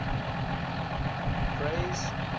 parys